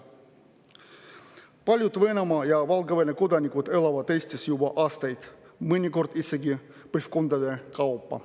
Paljud Venemaa ja Valgevene kodanikud elavad Eestis juba aastaid, mõnikord ollakse siin elanud isegi põlvkondade kaupa.